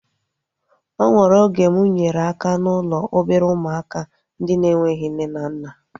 O nwere oge mụ nyere aka n'ụlọ obere ụmụaka ndị na-enweghị nne na nna